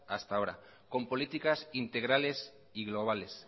hasta ahora con políticas integrales y globales